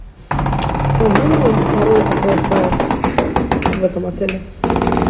скажи мне пароль от вай фая в этом отеле